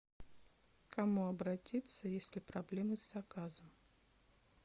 к кому обратиться если проблемы с заказом